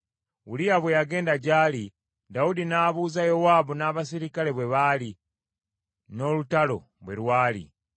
Uliya bwe yagenda gy’ali, Dawudi n’abuuza Yowaabu n’abaserikale bwe baali, n’olutalo bwe lwali.